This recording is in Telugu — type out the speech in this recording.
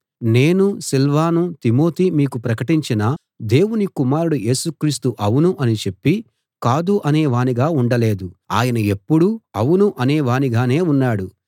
నేనూ సిల్వానూ తిమోతీ మీకు ప్రకటించిన దేవుని కుమారుడు యేసు క్రీస్తు అవును అని చెప్పి కాదు అనేవానిగా ఉండలేదు ఆయన ఎప్పుడూ అవును అనేవానిగానే ఉన్నాడు